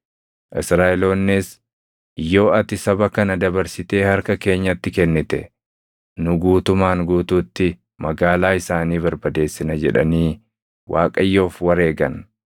Israaʼeloonnis, “Yoo ati saba kana dabarsitee harka keenyatti kennite, nu guutumaan guutuutti magaalaa isaanii barbadeessina” jedhanii Waaqayyoof wareegan.